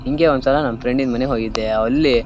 ಹಿಂಗೆ ಒಂದ್ ಸಲ ನನ್ನ ಫ್ರೆಂಡಿನ್ ಮನೆಗೆ ಹೋಗಿದ್ದೆ ಅಲ್ಲಿ--